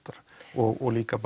og líka